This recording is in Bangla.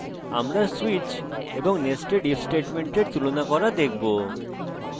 আমরা switch এবং nested if স্টেটমেন্টের তুলনা করা দেখবো